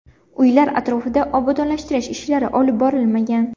Uylar atrofida obodonlashtirish ishlari olib borilmagan.